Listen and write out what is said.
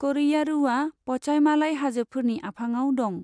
क'रैयारूआ पचाइमालाइ हाजोफोरनि आफाङाव दं।